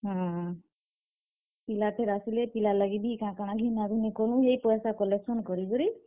ହୁଁ, ପିଲା ଫେର୍ ଆସଲେ। ପିଲା ଲାଗିବି କାଣା କାଣା ଘିନା ଘୁନି କଲୁଁ ଯେ ପଏସା collection କରି କରି।